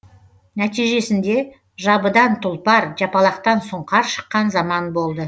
нәтижесінде жабыдан тұлпар жапалақтан сұңқар шыққан заман болды